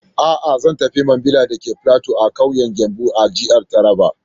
A'a, Zan tafi Mambila dake platu a ƙauyen Gembu a jihar Taraba.